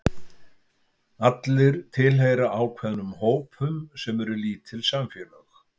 Allir tilheyra ákveðnum hópum sem eru lítil samfélög.